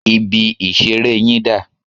Ibi-ìṣeré yín dà?